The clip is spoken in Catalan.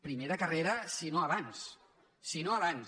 primer de carrera si no abans si no abans